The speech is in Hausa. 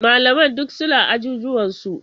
Malaman duk suna ajujuwansu.